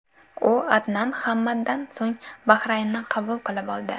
U Adnan Hamaddan so‘ng Bahraynni qabul qilib oldi.